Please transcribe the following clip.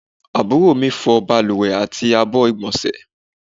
Àbúrò mi fọ́ baluwe àti àbọ̀ igbonse